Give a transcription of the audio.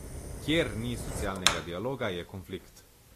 Kjer ni socialnega dialoga, je konflikt.